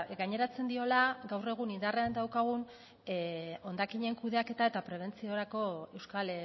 gaineratzen diola gaur egun indarrean daukagun hondakinen kudeaketa eta prebentziorako euskal